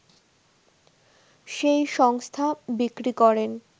সেই সংস্থা বিক্রি করেন